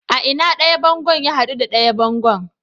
A ina ɗaya bango ya hadu da ɗaya bango?